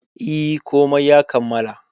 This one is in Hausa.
E, komai ya kammala.